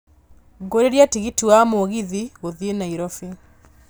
ngũriĩra tigiti wa mũgithi gũthiĩ nairobi